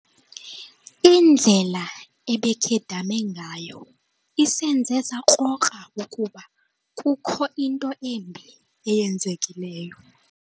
Indlela ebekhedame ngayo isenze sakrokra ukuba kukho into embi eyenzekileyo.